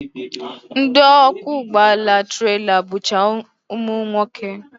Ndị ọkwọ ụgbọala trela bụcha ụmụnwoke